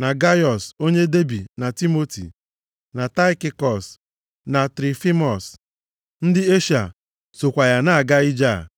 na Gaiọs onye Debi na Timoti, na Taịkikọs na Trofimọs, ndị Eshịa sokwa ya na-aga ije a.